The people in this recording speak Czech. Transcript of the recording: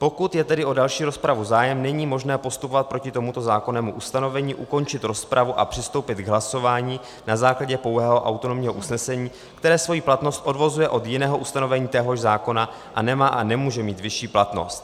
Pokud je tedy o další rozpravu zájem, není možné postupovat proti tomuto zákonnému ustanovení, ukončit rozpravu a přistoupit k hlasování na základě pouhého autonomního usnesení, které svoji platnost odvozuje od jiného ustanovení téhož zákona a nemá a nemůže mít vyšší platnost.